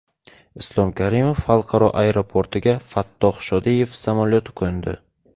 Islom Karimov xalqaro aeroportiga Fattoh Shodiyev samolyoti qo‘ndi.